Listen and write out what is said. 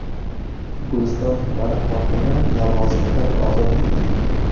Guliston tumani hokimi lavozimidan ozod etildi.